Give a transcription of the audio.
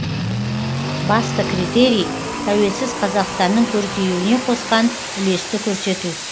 басты критерий тәуелсіз қазақстанның көркеюіне қосқан үлесті көрсету